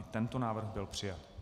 I tento návrh byl přijat.